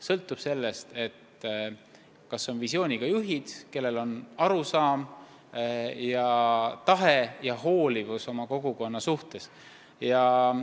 Sõltub sellest, kas on visiooniga juhid, kellel on õiged arusaamad ja kes oma kogukonnast hoolivad.